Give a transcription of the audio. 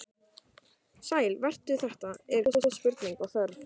Sæll vertu, þetta eru góð spurning og þörf.